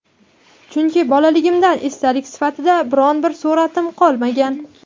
Chunki bolaligimdan esdalik sifatida biron bir sur’atim qolmagan.